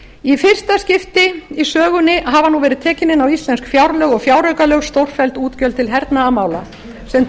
í fyrsta skipti í sögunni hafa verið tekin inn á íslensk fjárlög og fjáraukalög stórfelld útgjöld til hernaðarmála sem